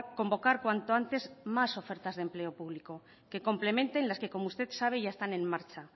convocar cuanto antes más ofertas de empleo público que complemente las que como usted sabe ya están en marcha